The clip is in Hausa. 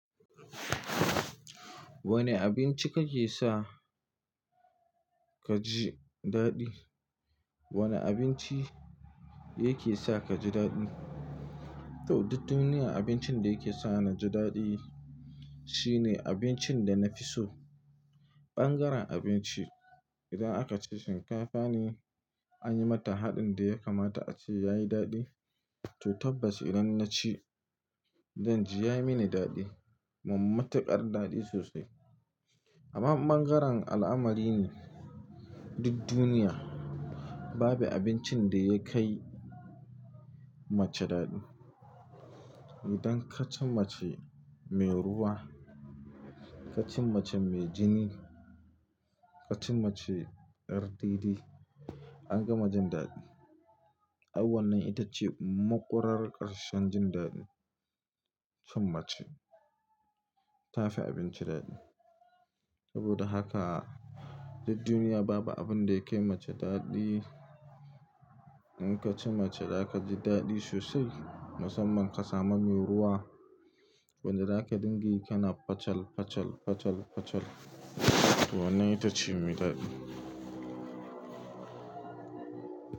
Wanne abinci kake sa kaji daɗi? Wane abinci yake sa ka ji daɗi? To, duk duniya abincin da yake sa naji daɗi shine abincin da nafi so. Ɓangaren abinci, idan aka ce shinkafa ne, an yi mata haɗin da ya kamata ace yayi daɗi. To tabbas idan naci, zanji yayi mini daɗi. Mummunar ƙar daɗi sosai. Amma in ɓangaren al'amari ne, duk duniya babu abincin da yakai mace daɗi. Idan kaci mace mai ruwa, kaci mace mai jini, kaci mace yar dede. Ka gama jin daɗi. Ai wannan ita ce maƙurar ƙarshen jin daɗi cin mace, tafi abinci daɗi. Saboda haka duk duniya babu abinda yakai mace daɗi. In kacii mace zaka ji daɗi sosai. Musamman ƙasa mami mai ruwa, wanda zaka dinga yi kana facal, facal, facal, facal. To wannan ita ce mai daɗi.